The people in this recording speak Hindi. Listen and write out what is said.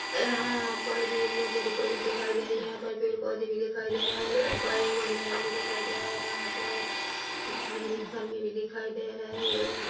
यहाँ पर भी एक बहोत बड़ी कॉलेज दिखाई दे रही है यहाँ पर पेड़-पौधे भी दिखाई दे रहे है यहाँ पर एक वाच मैन भी दिखाई दे रहा है यहाँ पर बिजली के खंभे भी दिखाई दे रहे है यहाँ--